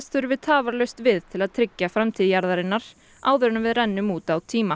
þurfi tafarlaust við til að tryggja framtíð jarðarinnar áður en við rennum út á tíma